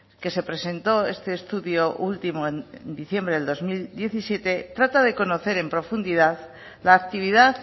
que se presentó este estudio último en diciembre del dos mil diecisiete trata de conocer en profundidad la actividad